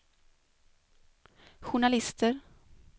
journalister